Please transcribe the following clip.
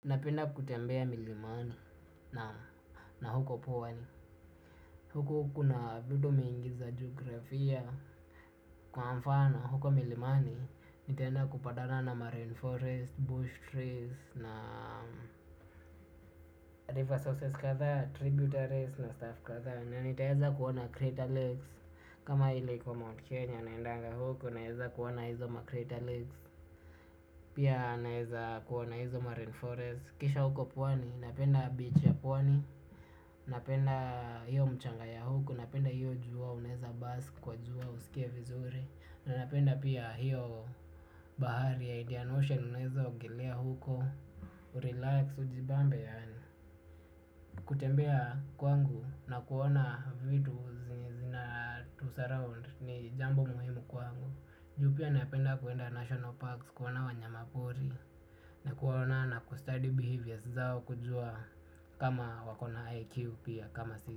Napenda kutembea milimani na huko pwani. Huko kuna vitu mingi za jiografia. Kwa mfana huko milimani. Nitaenda kupatana na marain forest, bush trees na river sources kadhaa, tributaries na staff kadhaa na nitaweza kuona crater lakes. Kama ile kwa Mount Kenya naendanga huko. Naweza kuona hizo ma crater lakes. Pia naeza kuwa na hizo marain forest. Kisha huko pwani, napenda beach ya pwani. Napenda hiyo mchanga ya huko, napenda hiyo jua unaweza bus kwa jua usikie vizuri aa napenda pia hiyo bahari ya Indian Ocean unaweza ogelea huko, urelax ujibambe yaani kutembea kwangu na kuona vitu zenye zinatu surround ni jambo muhimu kwangu. Juu pia napenda kuenda national parks kuona wanyama mapori. Na kuaona na kustudy behaviors zao kujua kama wako na IQ pia kama sisi.